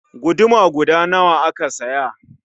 Guduma guda nawa ka siya?